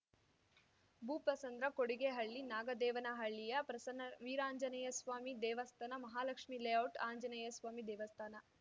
ಭೂಪಸಂದ್ರ ಕೊಡಿಗೇಹಳ್ಳಿ ನಾಗದೇವನಹಳ್ಳಿಯ ಪ್ರಸನ್ನ ವೀರಾಂಜನೇಯಸ್ವಾಮಿ ದೇವಸ್ಥಾನ ಮಹಾಲಕ್ಷ್ಮೀಲೇಔಟ್‌ ಆಂಜನೇಯಸ್ವಾಮಿ ದೇವಸ್ಥಾನ